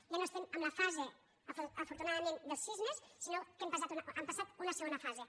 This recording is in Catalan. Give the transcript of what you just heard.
ja no estem en la fase afortunadament dels sismes sinó que hem passat a una segona fase